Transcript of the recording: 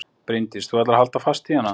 Bryndís: Þú ætlar að halda fast í hana?